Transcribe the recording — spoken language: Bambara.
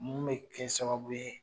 Mun bɛ kɛ sababu ye